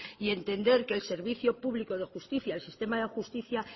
y entender que el servicio público de justicia el sistema de justicia